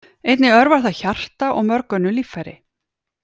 Einnig örvar það hjarta og mörg önnur líffæri.